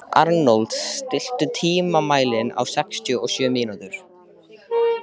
Arnold, stilltu tímamælinn á sextíu og sjö mínútur.